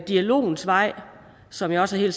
dialogens vej som jeg også